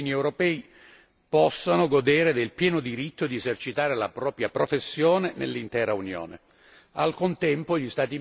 È fondamentale che i cittadini europei possano godere del pieno diritto di esercitare la propria professione nell'intera Unione.